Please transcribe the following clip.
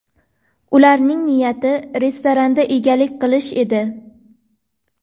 Ularning niyati restoranga egalik qilish edi.